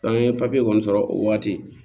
an ye papiye kɔni sɔrɔ o waati